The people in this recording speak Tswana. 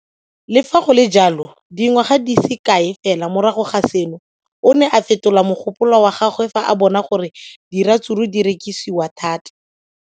Le fa go le jalo, dingwaga di se kae fela morago ga seno, o ne a fetola mogopolo wa gagwe fa a bona gore diratsuru di rekisiwa thata.